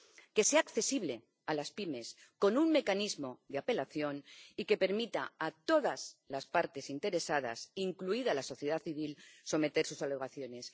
que sea accesible a las pymes con un mecanismo de apelación y que permita a todas las partes interesadas, incluida la sociedad civil, someter sus alegaciones.